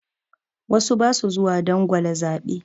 Wasu ba su zuwa dangwala zaɓe.